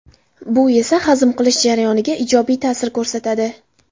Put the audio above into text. Bu esa hazm qilish jarayoniga ijobiy ta’sir ko‘rsatadi.